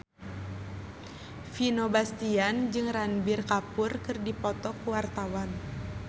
Vino Bastian jeung Ranbir Kapoor keur dipoto ku wartawan